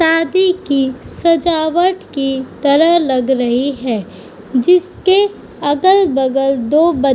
शादी की सजावट की तरह लग रही है जिसके अगल-बगल दो --